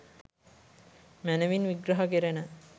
මැනවින් විග්‍රහ කෙරෙන